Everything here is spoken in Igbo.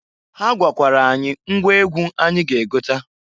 Ha gwakwara anyị ngwa egwu anyị ga egota.